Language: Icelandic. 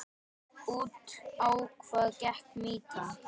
Út á hvað gekk mýtan?